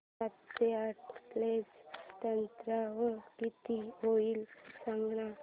सातशे आठ प्लस त्र्याण्णव किती होईल सांगना